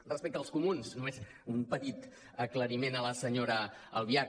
respecte als comuns només un petit aclariment a la senyora albiach